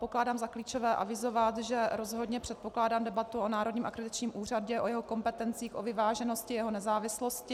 Pokládám za klíčové avizovat, že rozhodně předpokládám debatu o Národním akreditačním úřadě, o jeho kompetencích, o vyváženosti jeho nezávislosti.